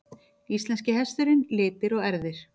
Íslenski hesturinn- litir og erfðir.